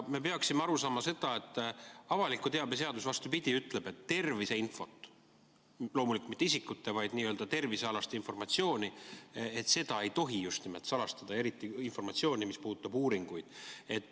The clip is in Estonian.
Me peaksime aru saama sellest, et avaliku teabe seadus vastupidi ütleb, et terviseinfot – loomulikult mitte isikute, vaid tervisealast informatsiooni – ei tohi just nimelt salastada, eriti informatsiooni, mis puudutab uuringuid.